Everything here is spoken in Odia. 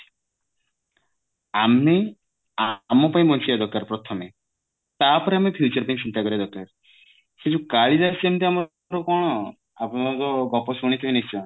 ଆମେ ଆମ ପାଇଁ ବଞ୍ଚିବା ଦରକାର ପ୍ରଥମେ ତାପରେ ଆମେ future ପାଇଁ ଚିନ୍ତା କରିବା ଦରକାର କିନ୍ତୁ କାଳିଦାସ ଯେମିତ ଆମର କଣ ଗପ ଶୁଣିଥିବେ ନିଶ୍ଚୟ